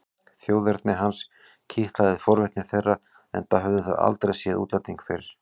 Þjóðerni hans kitlaði forvitni þeirra enda höfðu þau aldrei séð útlending fyrr.